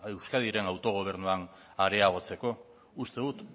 euskadiren autogobernuan areagotzeko uste dut